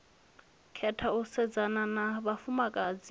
khetha u sedzana na vhafumakadzi